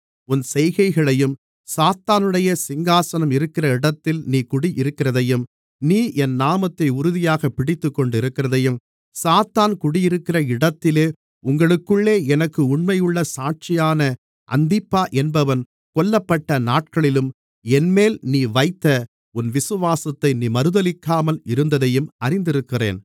உன் செய்கைகளையும் சாத்தானுடைய சிங்காசனம் இருக்கிற இடத்தில் நீ குடியிருக்கிறதையும் நீ என் நாமத்தை உறுதியாகப் பிடித்துக் கொண்டிருக்கிறதையும் சாத்தான் குடியிருக்கிற இடத்திலே உங்களுக்குள்ளே எனக்கு உண்மையுள்ள சாட்சியான அந்திப்பா என்பவன் கொல்லப்பட்ட நாட்களிலும் என்மேல் நீ வைத்த உன் விசுவாசத்தை நீ மறுதலிக்காமல் இருந்ததையும் அறிந்திருக்கிறேன்